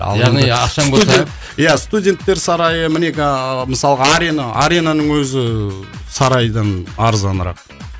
яғни ақшаң болса студент иә студенттер сарайы мінекей ыыы мысалға арена аренаның өзі сарайдан арзанырақ